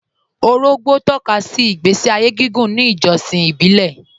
Òrògbó tọ̀kàsí ìgbèsí ayé gígùn ní ìjọ̀ṣìn ìbílẹ̀